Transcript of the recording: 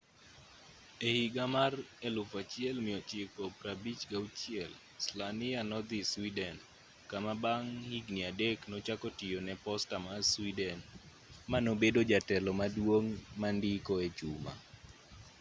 ehiga mar 1956 slania nodhi sweden kama bang' higni adek nochako tiyo ne posta ma sweden manobedo jatelo maduong' mandiko echuma